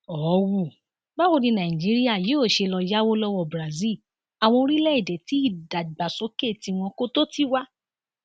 họwù báwo ni nàìjíríà yóò ṣe lọọ yáwó lọwọ brazil àwọn orílẹèdè tí ìdàgbàsókè tiwọn kò tó tiwa